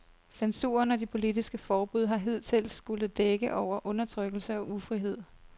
Censuren og de politiske forbud har hidtil skullet dække over undertrykkelse og ufrihed.